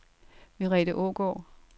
Merete Aagaard